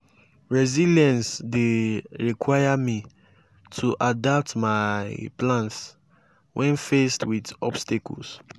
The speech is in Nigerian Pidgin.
resilience dey require me to adapt my plans when faced with obstacles.